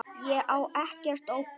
Ég á ekkert ópal